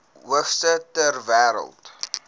hoogste ter wêreld